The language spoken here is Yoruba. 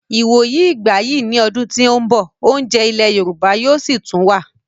Ìwòyí ìgbà yìí ní ọdún tí ó ń bọ̀, oúnjẹ ilẹ̀ yorùbá yóò sì tún wà